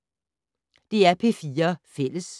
DR P4 Fælles